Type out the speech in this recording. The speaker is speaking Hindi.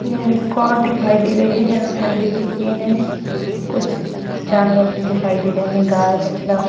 यह एक और दिखाई दे रही है यहां मंदिर की सीन है कुछ जानवर भी दिखाई दे रहे हैं गाय बछड़ा।